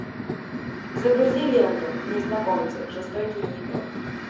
загрузи ленту незнакомцы жестокие игры